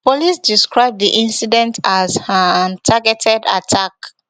police describe di incident as um targeted attack